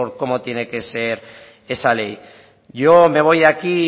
cómo tiene que ser esa ley yo me voy aquí